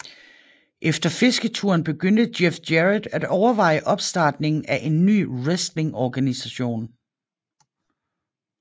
Efter fisketuren begyndte Jeff Jarrett at overveje opstartningen af en ny wrestlingorganisation